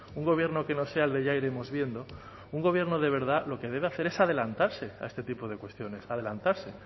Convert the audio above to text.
un gobierno que no sea el de ya iremos viendo un gobierno de verdad lo que debe hacer es adelantarse a este tipo de cuestiones adelantarse